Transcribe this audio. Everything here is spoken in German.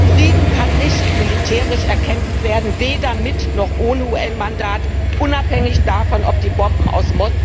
Frieden kann nicht militärisch erkämpft werden, weder mit noch ohne UN Mandat, unabhängig davon, ob die Bomben aus